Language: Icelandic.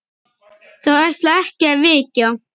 Þau ætla ekki að vekja